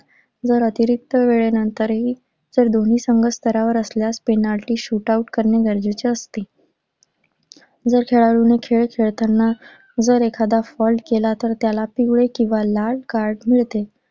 जर अतिरिक्त वेळेनंतरही जर दोन्ही संघ वर असल्यास penalty shoot out करणे गरजेचे असते. जर खेळाडूने खेळ खेळताना जर एखादा fault केला तर त्याला पिवळे किंवा लाल card मिळते.